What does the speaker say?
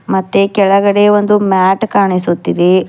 ಮತ್ತೆ ಕೆಳಗಡೆ ಒಂದು ಮ್ಯಾಟ್ ಕಾಣಿಸುತ್ತಿದೆ.